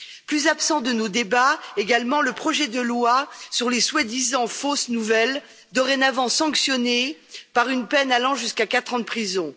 Plus absent de nos débats, également, le projet de loi sur les soi disant fausses nouvelles, dorénavant sanctionnées par une peine allant jusqu'à quatre ans de prison.